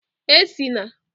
E si na